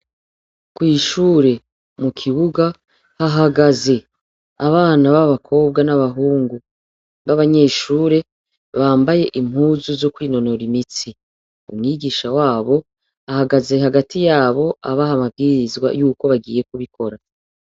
Kw'ishure mu kibuga, hahagaze abana ba bakobwa n'abahungu b'abanyeshure, bambaye impuzu zo kwinonora imitsi. Umwigisha w'abo ahagaze hagati y'abo abaha amabwirizwa y'uko bagiye kubikora.